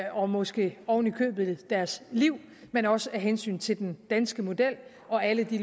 og måske oven i købet deres liv men også af hensyn til den danske model og alle de